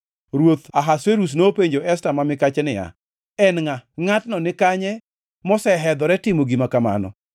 Ruoth Ahasuerus nopenjo Esta ma mikache niya, “En ngʼa? Ngʼatno ni kanye mosehedhore timo gima kamano?”